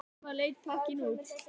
Svona leit pakkinn út.